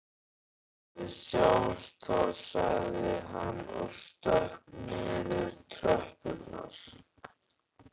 Við sjáumst þá sagði hann og stökk niður tröppurnar.